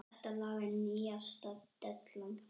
Þetta lag er nýjasta dellan.